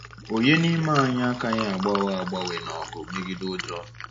Ònye n’ime anyị akaghị agbanwe agbanwe n’ọgụ megide ụjọ?